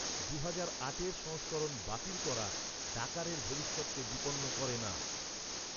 দুহাজার আটের সংস্করণ বাতিল করা, ডাকারের ভবিষ্যতকে বিপন্ন করে না।